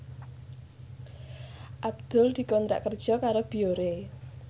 Abdul dikontrak kerja karo Biore